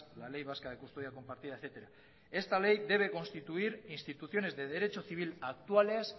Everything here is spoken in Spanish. la ley vasca de custodia compartida etcétera esta ley debe constituir instituciones de derecho civil actuales